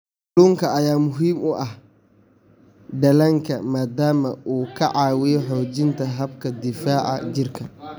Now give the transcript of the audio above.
Kalluunka ayaa muhiim u ah dhallaanka maadaama uu ka caawiyo xoojinta habka difaaca jirka.